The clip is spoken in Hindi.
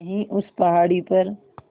यहीं उस पहाड़ी पर